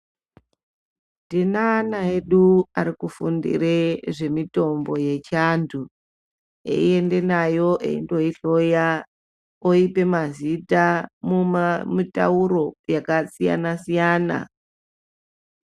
Tine ana edu ari kufundire zve mitombo yechi antu eyi ende nayo eyi ndoyi hloya oyipe mazita muma mitauro yaka siyana siyana.